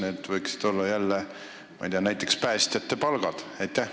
Kas need võiksid olla jälle, ma ei tea, näiteks päästjate palgad?